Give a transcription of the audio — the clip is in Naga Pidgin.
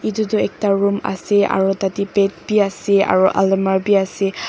etu toh ekta room ase aru tatey bed bi ase aru almari bi ase--